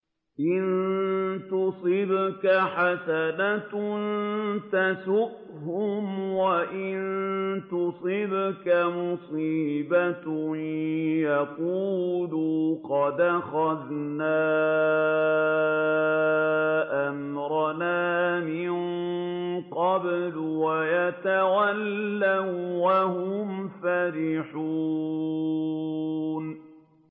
إِن تُصِبْكَ حَسَنَةٌ تَسُؤْهُمْ ۖ وَإِن تُصِبْكَ مُصِيبَةٌ يَقُولُوا قَدْ أَخَذْنَا أَمْرَنَا مِن قَبْلُ وَيَتَوَلَّوا وَّهُمْ فَرِحُونَ